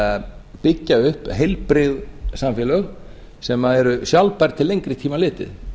að byggja upp heilbrigð samfélög sem eru sjálfbær til lengri tíma litið